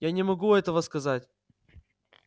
я не могу этого сказать